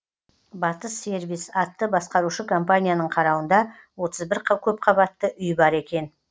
батыс сервис атты басқарушы компанияның қарауында отыз бір көпқабатты үй бар екен